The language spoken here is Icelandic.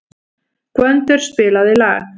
Gvöndur, spilaðu lag.